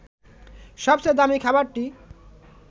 সবচেয়ে দামী খাবারটি